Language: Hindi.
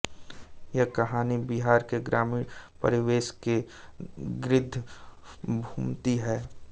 यह कहानी बिहार के ग्रामीण परिवेश के गिर्द घूमती है